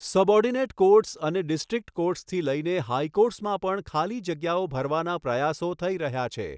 Subordinate courts અને district કૉર્ટ્સથી લઈને હાઈકૉર્ટ્સમાં પણ ખાલી જગ્યાઓ ભરવાના પ્રયાસો થઈ રહ્યા છે.